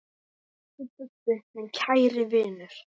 Elsku Bubbi, minn kæri vinur.